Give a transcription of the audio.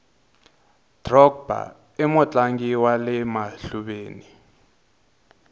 drogba imutlangi wale mahluveni